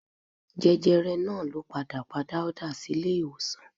Jẹjẹrẹ náà ló padà pa Dáúdà sílé ìwòsàn